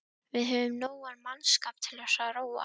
Við höfum nógan mannskap til að róa.